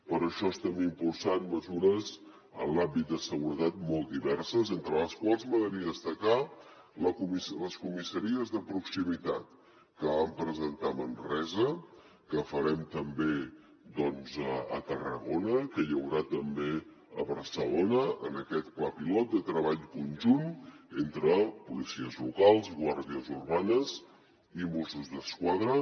per això estem impulsant mesures en l’àmbit de seguretat molt diverses entre les quals m’agradaria destacar les comissaries de proximitat que vam presentar a manresa que farem també doncs a tarragona que hi haurà també a barcelona en aquest pla pilot de treball conjunt entre policies locals guàrdies urbanes i mossos d’esquadra